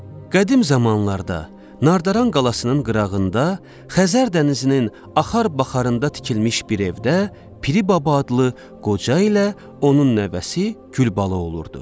Qədim zamanlarda Nardaran qalasının qırağında, Xəzər dənizinin axar-baxarında tikilmiş bir evdə Piri Baba adlı qoca ilə onun nəvəsi Gülbala olurdu.